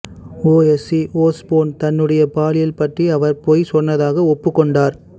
Ozzy Osbourne தன்னுடைய பாலியல் பற்றி அவர் பொய் சொன்னதாக ஒப்புக்கொண்டார்